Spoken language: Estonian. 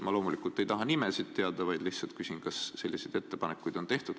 Ma loomulikult ei taha nimesid teada, vaid lihtsalt küsin, kas selliseid ettepanekuid on tehtud.